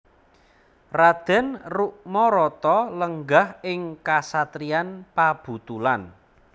Raden Rukmarata lenggah ing kasatriyan Pabutulan